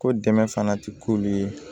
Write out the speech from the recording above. Ko dɛmɛ fana tɛ k'ulu ye